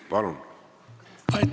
Palun!